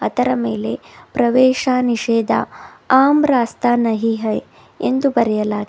ಇದರ ಮೇಲೆ ಪ್ರವೇಶ ನಿಷೇಧ ಅಮ್ರಾಸ್ತ ನಾಹಿ ಹೇ ಎಂದು ಬರೆಯಲಾಗಿದೆ.